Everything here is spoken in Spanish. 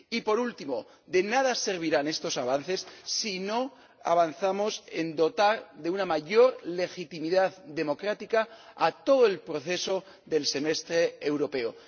Y por último, de nada servirán estos avances si no avanzamos en dotar de una mayor legitimidad democrática a todo el proceso del Semestre Europeo.